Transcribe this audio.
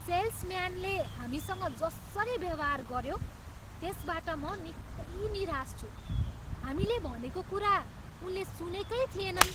सेल्सम्यानले हामीसँग जसरी व्यवहार गऱ्यो, त्यसबाट म निकै निराश छु, हामीले भनेको कुरा उनले सुनेकै थिएनन्।